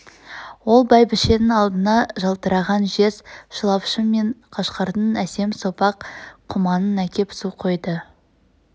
ол бәйбшенң алдына жалтыраған жез шылапшын мен қашқардың әсем сопақ құманын әкеп су құйды